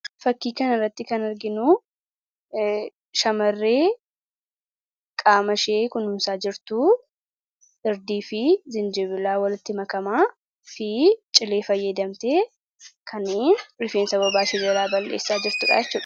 Fakkii kanarratti kan arginu shamarree qaamashee kunuunsaa jirtu irdii fi jinjibila walitti makamaa fi cilee fayyadamtee kan rifeensa bobaashee jalaa balleessaa jirtudha jechuudha.